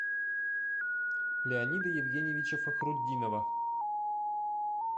леонида евгеньевича фахрутдинова